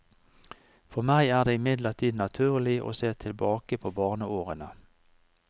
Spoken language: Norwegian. For meg er det imidlertid naturlig å se tilbake på barneårene.